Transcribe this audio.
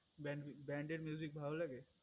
branded ভাল লাগে